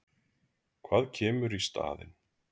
Hvað kemur í staðinn?